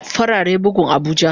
Farare bugun abuja.